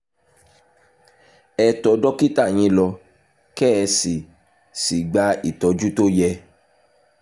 ẹ tọ́ dókítà yín lọ kẹ́ ẹ sì sì gba ìtọ́jú tó yẹ